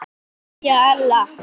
Kveðja Ella.